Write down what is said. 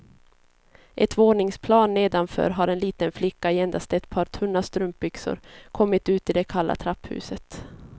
Ett våningsplan nedanför har en liten flicka i endast ett par tunna strumpbyxor kommit ut i det kalla trapphuset.